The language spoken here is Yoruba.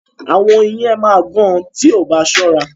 Àwọn oyin yẹn máa gán o tí o bá sóra.